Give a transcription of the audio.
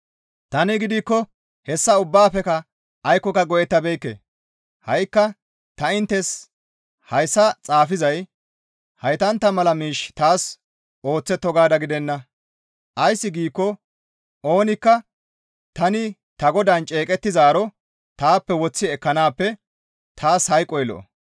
Tani gidikko hessa ubbaafekka aykkoka go7ettabeekke; ha7ikka ta inttes hayssa xaafizay heytantta mala miish taas ooththetto gaada gidenna. Ays giikko oonikka tani ta Godaan ceeqettizaaro taappe woththi ekkanaappe taas hayqoy lo7o.